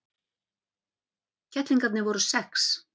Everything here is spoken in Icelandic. Kettlingarnir voru sex.